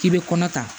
K'i bɛ kɔnɔ ta